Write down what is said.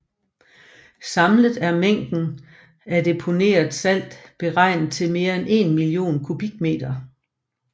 Samlet er mængden af deponeret salt beregnet til mere end 1 million kubikkilometer